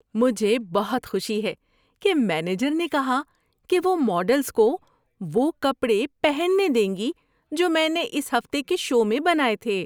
مجھے بہت خوشی ہے کہ مینیجر نے کہا کہ وہ ماڈلز کو وہ کپڑے پہننے دیں گی جو میں نے اس ہفتے کے شو میں بنائے تھے۔